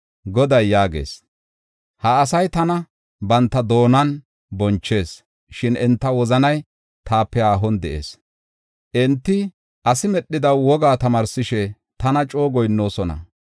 Goday yaagees: “Ha asay tana banta doonan bonchees; shin enta wozanay taape haahon de7ees. Enti asi medhida wogaa tamaarsishe tana coo goyinnoosona.